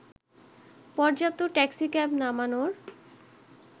পর্যাপ্ত ট্যাক্সিক্যাব নামানোর